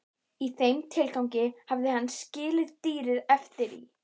Í þeim tilgangi hafði hann skilið dýrin eftir í